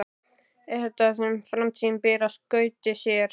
Er þetta það sem framtíðin ber í skauti sér?